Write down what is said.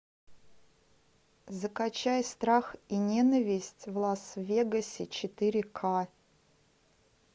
закачай страх и ненависть в лас вегасе четыре к